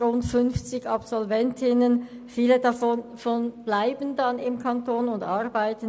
Viele Absolventinnen bleiben im Kanton Bern, um hier zu arbeiten.